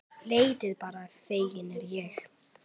Leitið bara, feginn er ég.